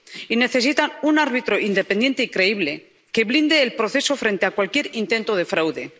Y necesitan un árbitro independiente y creíble que blinde el proceso frente a cualquier intento de fraude.